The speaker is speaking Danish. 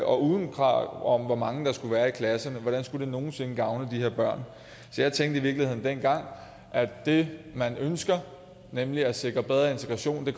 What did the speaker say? og uden krav om hvor mange der skulle være i klasserne hvordan skulle det nogen sinde gavne de her børn så jeg tænkte i virkeligheden dengang at det man ønskede nemlig at sikre bedre integration